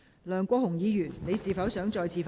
梁國雄議員，你是否想再次發言？